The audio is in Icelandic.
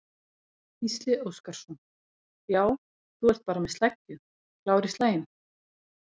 Gísli Óskarsson: Já, þú ert bara með sleggju, klár í slaginn?